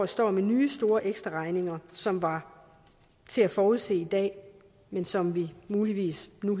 står med nye store ekstraregninger som var til at forudse i dag men som vi muligvis nu